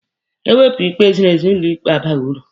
E wepụ ikpe ziri ezi, ụlọ ikpe abaghị uru.